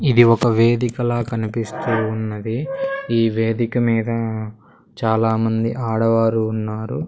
ఇది ఒక వేదికలా కనిపిస్తూ ఉన్నది ఈ వేదిక మీద చాలా మంది ఆడవారు ఉన్నారు.